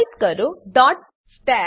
type કરો stat